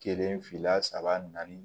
Kelen fila saba naani